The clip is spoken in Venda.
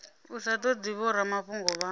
u sa todi vhoramafhungo vha